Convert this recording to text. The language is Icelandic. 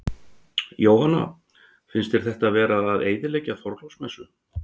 Jóhanna: Finnst þér þetta vera að eyðileggja Þorláksmessu?